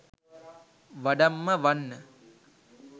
වඩම්ම වන්න.